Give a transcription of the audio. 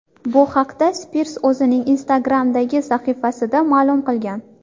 Bu haqda Spirs o‘zining Instagram’dagi sahifasida ma’lum qilgan .